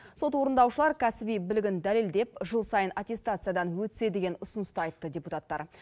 сот орындаушылар кәсіби білігін дәлелдеп жыл сайын аттестациядан өтсе деген ұсыныс та айтты депутаттар